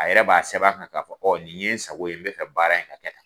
A yɛrɛ b'a sɛbɛn a kan ka fɔ ɔ nin ye n sago ye n be fɛ kaara in ka kɛ tan